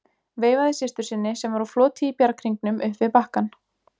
Veifaði systur sinni sem var á floti í bjarghringnum upp við bakkann.